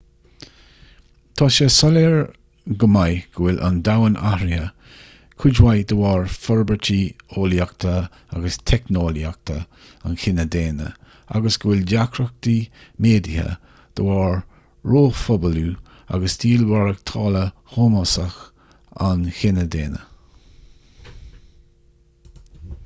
tá sé soiléir go maith go bhfuil an domhan athraithe cuid mhaith de bharr forbairtí eolaíochta agus teicneolaíochta an chine dhaonna agus go bhfuil deacrachtaí méadaithe de bharr róphobalú agus stíl mhaireachtála shómasach an chine dhaonna